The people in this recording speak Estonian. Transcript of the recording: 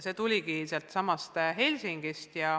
See initsiatiiv tuligi sealtsamast Helsingist.